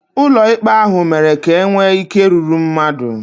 Ụlọ ikpe ahụ mere ka e nwee ike rúrú mmadụ